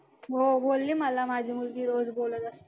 हो बोलले मला माझी मुलगी रोज बोलत असते.